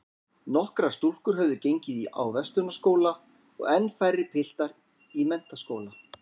Nokkrar stúlkur höfðu gengið á Verslunarskóla og enn færri piltar í menntaskóla.